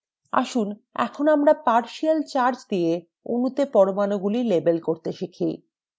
আসুন এখন আমরাpartial charge দিয়ে অণুতে পরমাণুগুলিকে label করতে শিখি